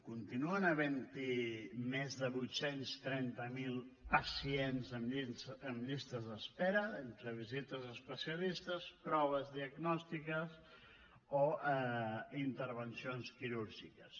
continuen havent hi més de vuit cents i trenta miler pacients en llistes d’espera entre visites a especialistes proves diagnòstiques o intervencions quirúrgiques